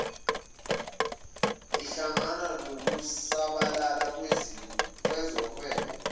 ihlangana nokusabalala kwezohwebo